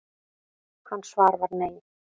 Hans svar var nei.